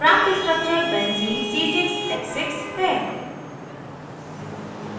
प्राप्त structure benzene benzene c6h6 है